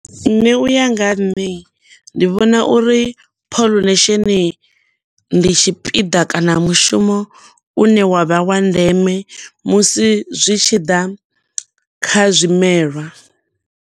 Nṋe u ya nga ha nṋe ndi vhona uri pollination, ndi tshipiḓa kana mushumo une wa vha wa ndeme musi zwi tshi ḓa kha zwimelwa.